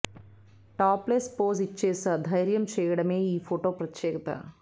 top less pose ఇచ్చేసే ధైర్యం చేయడమే ఈ ఫోటో ప్రత్యేకత